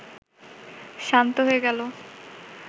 শান্ত হয়ে গেল